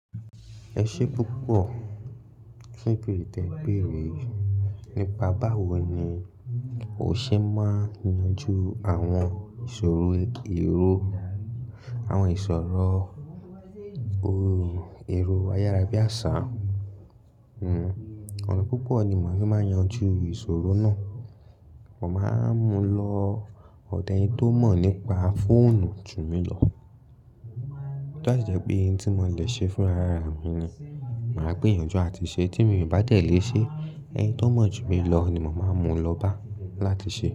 Ẹ ṣé púpọ̀ fun ibéèrè tẹ, béèrè. Nípa báwo ni o ṣe máa ń yanjú àwọn ìṣòro èrò, àwọn ìṣòro èrò ayárabíàṣá? Ọ̀na púpọ̀ ni màá ń fi máa yanjú ìṣòro náà. Mo máa ń mu lọ ọ̀dọ̀ ẹni tó mọ̀ nípa fóònù jù mi lọ. To ba si jẹ́ pé ohun tí mo lè ṣe fún ara mi ni, màá gbé yanjú àti ṣe. Tí mi bá de lé ṣe, ẹni tó mọ̀ ju mi lọ ni mò máa ń mu lọ bá láti ṣe.